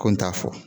Ko n t'a fɔ